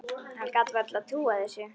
Hann gat varla trúað þessu.